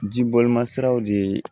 Ji bɔli ma siraw de